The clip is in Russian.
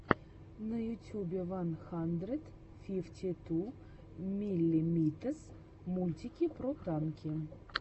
на ютюбе ван хандрэд фифти ту миллимитэс мультики про танки